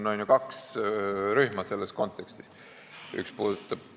No siin, selles kontekstis on ju kaks rühma.